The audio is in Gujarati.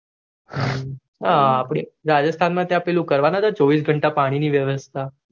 હમ અપડે તો રજસ્થાન મતો ચોવીસ ખંત પાણી ની વ્યવસ્થા